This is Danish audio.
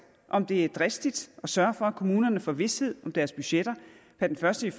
om det er dristigt at sørge for at kommunerne får vished om deres budgetter per den første